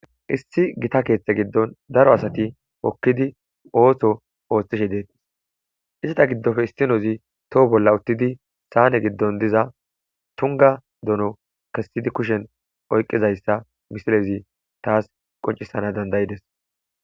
issi gita keeththe giddon daro asati hokkidi ooso ooththishe deettis isata giddofe istinozi toho bolla uttidi saane giddon diza tunga dono kessidi kushen oyqizayssa misilezi taas qoncisana dandayides